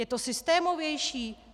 Je to systémovější?